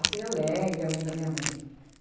assim, alegre, a mãe da minha mãe.